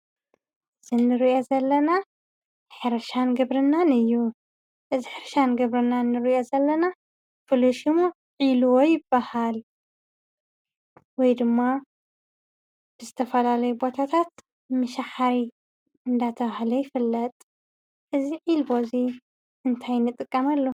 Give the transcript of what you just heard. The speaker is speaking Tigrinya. እዚ እንሪኦ ዘለና ሕርሻን ግብርናን እዩ፡፡ እዚ ሕርሻን ግብርናን እንሪኦ ዘለና ፉሉይ ሸሙ ዒልቦ ይባሃል፡፡ ወይ ድም ብዝተፈላለዩ ቦታታት ምሻሓሪ እንዳተባሃለ ይፍለጥ፡፡ እዚ ዒልቦ እዚ እንታይ ንጥቀመሉ?